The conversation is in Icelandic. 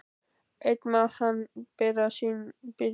Einn má hann bera sína byrði.